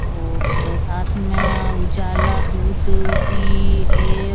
और साथ में उजाला दूध भी है।